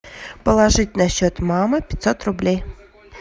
положить на счет мамы пятьсот рублей